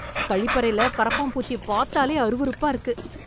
கழிப்பறைல கருப்பான் பூச்சி பாத்தாலே அருவருப்பா இருக்கு